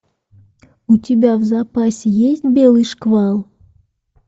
у тебя в запасе есть белый шквал